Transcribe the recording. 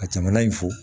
Ka jamana in fo